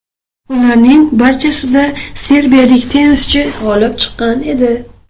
Ularning barchasida serbiyalik tennischi g‘olib chiqqan edi.